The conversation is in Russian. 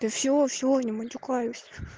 да всё всё не матюкаюсь